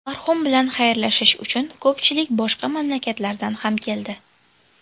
Marhum bilan xayrlashish uchun ko‘pchilik boshqa mamlakatlardan ham keldi.